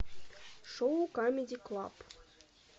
шоу камеди клаб